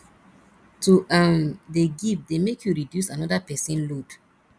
to um dey give dey make you reduce anoda pesin load